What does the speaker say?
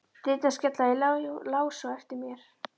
Dyrnar skella í lás á eftir mér.